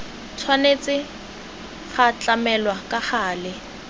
tshwanetse go tlamelwa ka gale